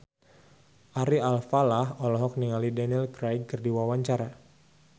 Ari Alfalah olohok ningali Daniel Craig keur diwawancara